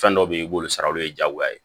Fɛn dɔw be yen i b'olu sara olu ye jagoya ye